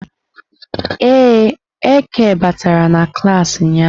Ee, Eke batara na klas ụnyahụ.